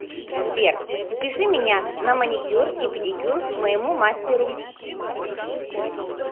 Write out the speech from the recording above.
сбер запиши меня на маникюр и педикюр к моему мастеру